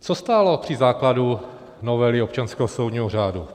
Co stálo při základu novely občanského soudního řádu?